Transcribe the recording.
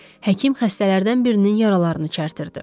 Həkim xəstələrdən birinin yaralarını çərtirdi.